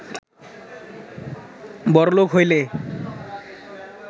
বড়লুক হইলে